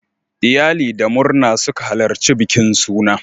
Iyali da murna suka halarci bikin suna.